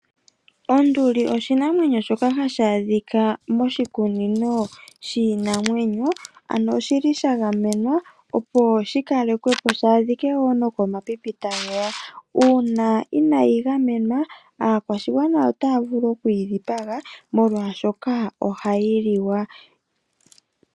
Onduli oshinamwenyo shoka hashi adhika moshikunino shiinamwenyo, ano osha gamenwa, opo shi kalekwe po shi adhike wo nokomapipi tage ya. Uuna inayi gamenwa aakwashigwana otaya vulu oku yi dhipaga molwashoka ohayi liwa.